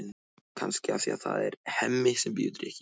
Kannski af því að það er Hemmi sem býður drykkinn.